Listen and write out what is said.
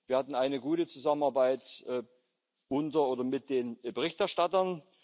Wir hatten eine gute Zusammenarbeit unter oder mit den Berichterstattern.